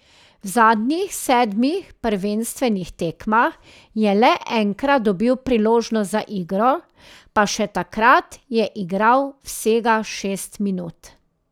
V zadnjih sedmih prvenstvenih tekmah je le enkrat dobil priložnost za igro, pa še takrat je igral vsega šest minut.